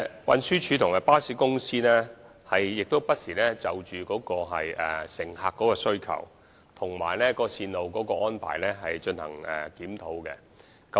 運輸署和巴士公司不時就乘客的需求和線路的安排進行檢討。